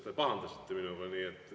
Te pahandasite minuga.